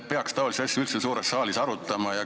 Kas taolisi asju peaks üldse suures saalis arutama?